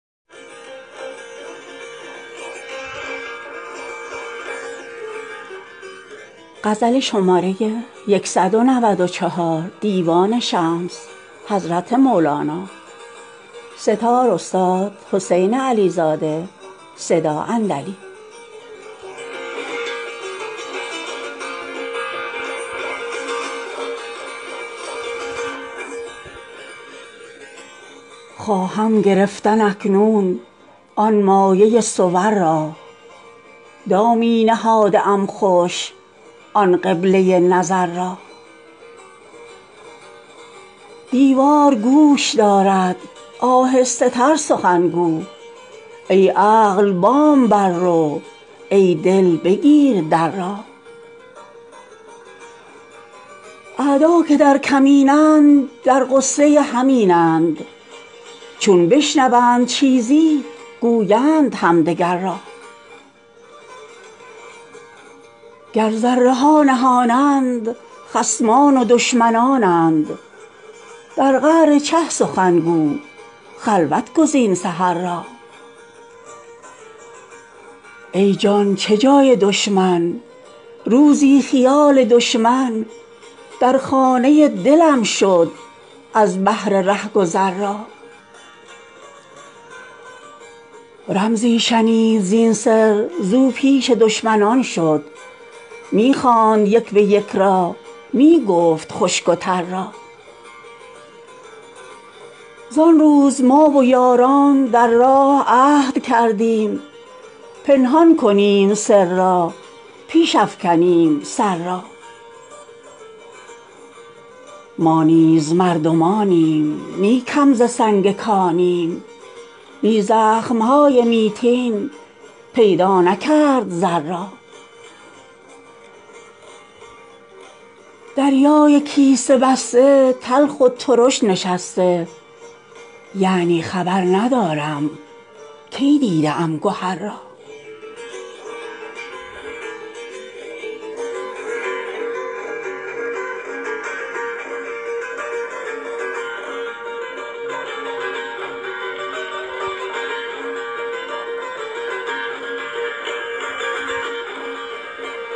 خواهم گرفتن اکنون آن مایه صور را دامی نهاده ام خوش آن قبله نظر را دیوار گوش دارد آهسته تر سخن گو ای عقل بام بر رو ای دل بگیر در را اعدا که در کمینند در غصه همینند چون بشنوند چیزی گویند همدگر را گر ذره ها نهانند خصمان و دشمنانند در قعر چه سخن گو خلوت گزین سحر را ای جان چه جای دشمن روزی خیال دشمن در خانه دلم شد از بهر رهگذر را رمزی شنید زین سر زو پیش دشمنان شد می خواند یک به یک را می گفت خشک و تر را زان روز ما و یاران در راه عهد کردیم پنهان کنیم سر را پیش افکنیم سر را ما نیز مردمانیم نی کم ز سنگ کانیم بی زخم های میتین پیدا نکرد زر را دریای کیسه بسته تلخ و ترش نشسته یعنی خبر ندارم کی دیده ام گهر را